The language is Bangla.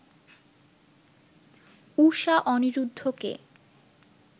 ঊষা অনিরুদ্ধকে